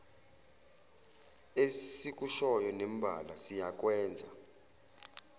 esikushoyo nembala siyakwenza